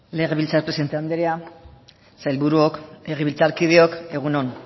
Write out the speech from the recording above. legebiltzar presidente andrea sailburuok legebiltzarkideok egun on